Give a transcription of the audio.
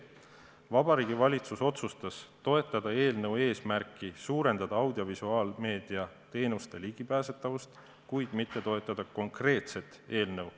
Vabariigi Valitsus otsustas toetada eelnõu eesmärki suurendada audiovisuaalmeedia teenuste ligipääsetavust, kuid mitte toetada konkreetset eelnõu.